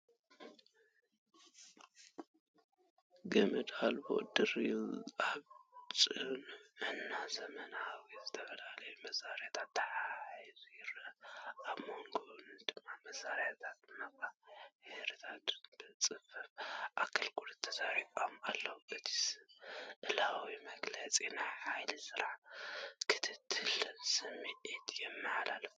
ገመድ ኣልቦ ድሪል ኣብ ጽኑዕን ዘመናውን ዝተፈላለየ መሳርሒታት ተተሓሒዙ ይረአ። ኣብ ጎድኑ ድማ መሳርሕታትን መቐያየሪታትን ብጽፉፍ ኣሰራርሓ ተሰሪዖም ኣለዉ፤ እቲ ስእላዊ መግለጺ ናይ ሓይሊ ስራሕን ክእለትን ስምዒት የመሓላልፍ።